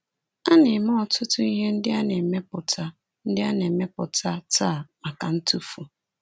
A na-eme ọtụtụ ihe ndị a na-emepụta ndị a na-emepụta taa maka ntụfu.